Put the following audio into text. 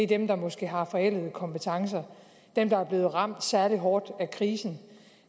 dem der måske har forældede kompetencer dem der er blevet ramt særlig hårdt af krisen